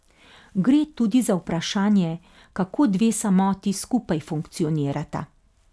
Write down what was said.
Gre tudi za vprašanje, kako dve samoti skupaj funkcionirata.